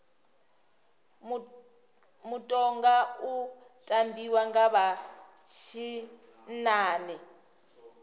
mutoga u tambiwa nga vha tshinnani